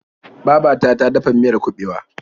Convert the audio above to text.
Baba ta ta dafa miyar kuɓewa.